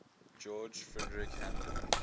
george frideric handel